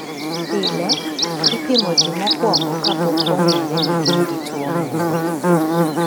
Pile, ipimo ji mokwongo kapok ong'ere ni gin gi tuwo moro.